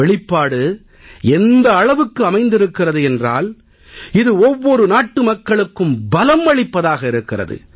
வெளிப்பாடு எந்த அளவுக்கு அமைந்திருக்கிறது என்றால் இது ஒவ்வொரு நாட்டுமக்களுக்கும் பலம் அளிப்பதாக இருக்கிறது